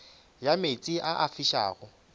ya meetse a a fišago